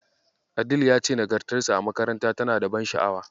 Adell ya ce nagartarsa a makaranta tana da ban sha'awa.